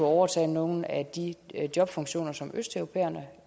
overtage nogle af de jobfunktioner som østeuropæerne